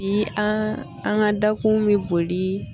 Bi an an ka dakun bɛ boli.